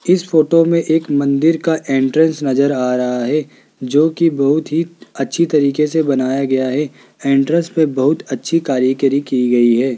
इस फोटो मे एक मंदिर का एंट्रेंस नज़र आ रहा है जो की बहोत ही अच्छी तरीके से बनाया गया है एंट्रेंस पर बहोत अच्छी करीकारी की गयी है।